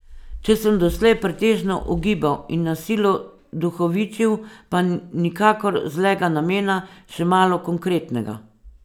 Če sem doslej pretežno ugibal in na silo duhovičil, pa nikakor zlega namena, še malo konkretnega.